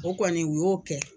O kɔni u y'o kɛ.